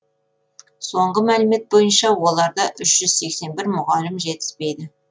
соңғы мәліметтер бойынша оларда үш жүз сексен бір мұғалім жетіспейді